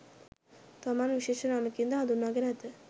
තමන් විශේෂ නමකින් ද හඳුන්වා ගෙන ඇත